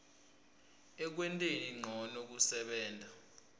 ekwenteni ncono kusebenta